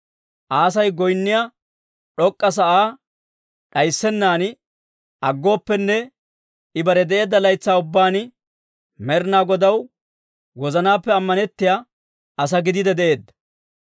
Aasi goynniyaa d'ok'k'a sa'aa d'ayssennan aggooppenne, I bare de'eedda laytsaa ubbaan Med'inaa Godaw wozanaappe ammanettiyaa asaa gidiide de'eedda.